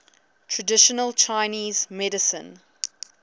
traditional chinese medicine